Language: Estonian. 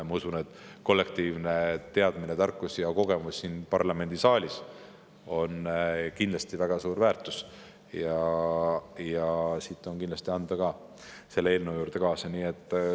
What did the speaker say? Ma usun, et kollektiivne teadmine, tarkus ja kogemus siin parlamendisaalis on kindlasti väga suur väärtus ja siit on kindlasti midagi ka selle eelnõu juurde kaasa anda.